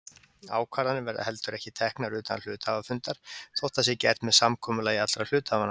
Ákvarðanir verða heldur ekki teknar utan hluthafafundar þótt það sé gert með samkomulagi allra hluthafanna.